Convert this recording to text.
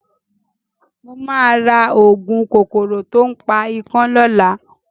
Mo máa ra òògùn kòkòrò to ń pa ikán lọ́la.